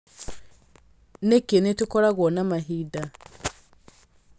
Nĩkĩ nĩ tũkoragwo na mahinda